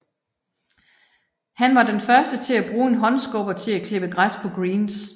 Han var den første til at bruge en håndskubber til at klippe græs på greens